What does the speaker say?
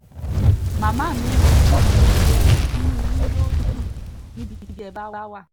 màmá mi ìrètí mi ni pé inú yín yóò dùn